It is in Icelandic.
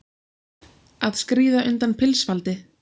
Að skríða undan pilsfaldi